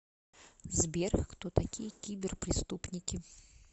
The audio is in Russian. сбер кто такие киберпреступники